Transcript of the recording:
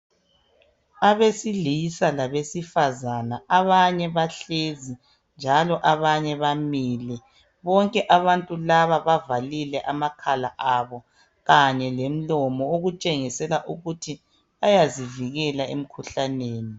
Abesilisa labesifazana abanye bahlezi njalo abanye bamile bonke abantu laba bavalile amakhala abo kanye lemlomo okutshengisela ukuthi bayazivikela emkhuhlaneni.